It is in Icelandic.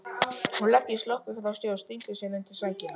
Hún leggur sloppinn frá sér og stingur sér undir sængina.